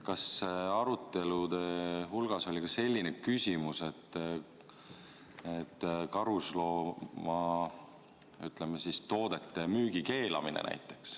Kas arutelul oli ka selline küsimus, et võiks karusnahatoodete müügi keelata?